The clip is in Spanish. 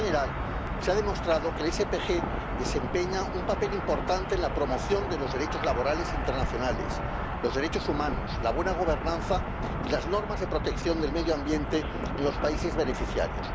En general, se ha demostrado que el SPG desempeña un papel importante en la promoción de los derechos laborales internacionales, los derechos humanos, la buena gobernanza y las normas de protección del medio ambiente en los países beneficiarios.